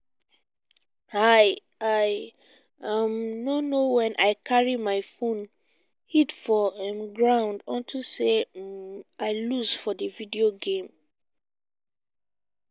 i i um no know wen i carry my phone hit for um ground unto say um i lose for the video game